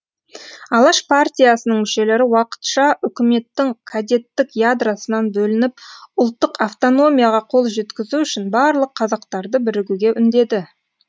алаш партиясының мүшелері уақытша үкіметтің кадеттік ядросынан бөлініп ұлттық автономияға қол жеткізу үшін барлық қазақтарды бірігуге үндеді